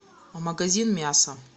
магазин мяса